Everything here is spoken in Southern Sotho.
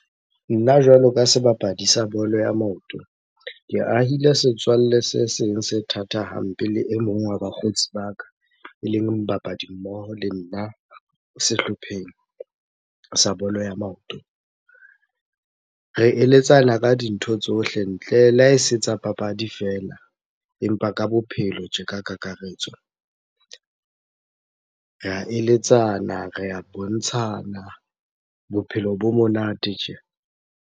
Nna jwalo ka sebapadi sa bolo ya maoto. Ke ahile setswalle se seng se thatha hampe le e mong wa bakgotsi ba ka, eleng dibapadi mmoho le nna sehlopheng sa bolo ya maoto. Re eletsana ka dintho tsohle, ntle le ha e se tsa papadi fela empa ka bophelo tje ka kakaretso. Re a eletsana, re a bontshana, bophelo bo monate tje.